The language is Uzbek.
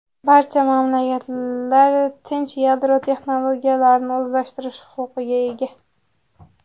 Barcha mamlakatlar tinch yadro texnologiyalarini o‘zlashtirish huquqiga ega.